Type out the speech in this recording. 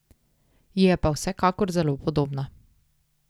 Ji je pa vsekakor zelo podobna.